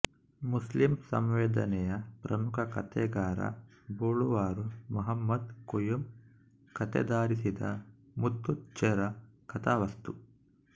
Muslim ಸಂವೇದನೆಯ ಪ್ರಮುಖ ಕತೆಗಾರ ಬೊಳುವಾರು ಮಹಮದ್ ಕುಂಇ ಕತೆಯಾಧರಿಸಿದ ಮುತ್ತುಚ್ಚೇರ ಕಥಾವಸ್ತು